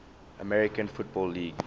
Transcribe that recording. american football league